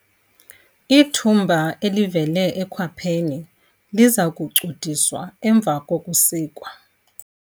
Ithumba elivele ekhwapheni liza kucudiswa emva kokusikwa.